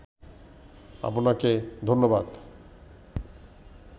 আপনাকে ধন্যবাদ